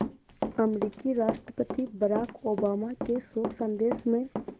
अमरीकी राष्ट्रपति Barack Obama के शोक संदेश में